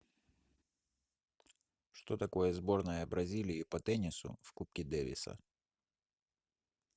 что такое сборная бразилии по теннису в кубке дэвиса